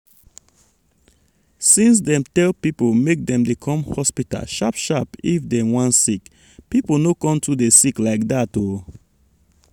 since dem tell people make dem dey come hospital sharp sharp if dem wan sick people no con too dey sick like that o.